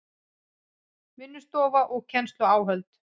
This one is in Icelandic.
Vinnustofa og kennsluáhöld